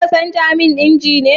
Za ka canja man inji ne?